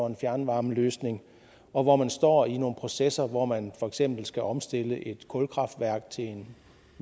en fjernvarmeløsning og hvor man står i nogle processer hvor man for eksempel skal omstille et kulkraftværk til en